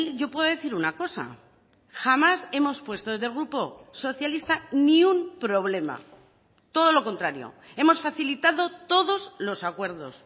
yo puedo decir una cosa jamás hemos puesto desde el grupo socialista ni un problema todo lo contrario hemos facilitado todos los acuerdos